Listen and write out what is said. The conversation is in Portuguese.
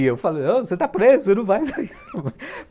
E eu falei, você está preso, ele não vai sair.